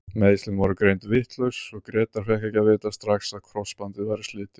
Meiðslin voru greind vitlaus og Grétar fékk ekki að vita strax að krossbandið væri slitið.